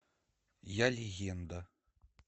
я легенда